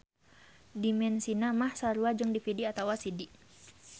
Dimensina mah sarua jeung DVD atawa CD.